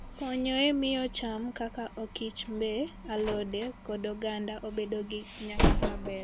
Okonyo e miyo cham kaka okichmbe, alode, kod oganda obed gi nyak maber.